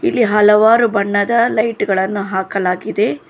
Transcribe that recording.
ಇಲ್ಲಿ ಹಲವಾರು ಬಣ್ಣದ ಲೈಟ್ ಗಳನು ಹಾಕಲಾಗಿದೆ.